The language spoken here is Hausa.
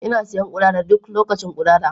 Ina siyan udara duk lokacin udara.